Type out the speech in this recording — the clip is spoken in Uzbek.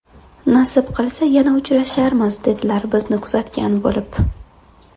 Nasib qilsa yana uchrasharmiz, dedilar bizni kuzatgan bo‘lib.